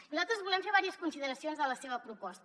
nosaltres volem fer diverses consideracions de la seva proposta